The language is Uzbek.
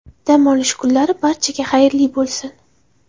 Dam olish kunlari barchaga xayrli bo‘lsin!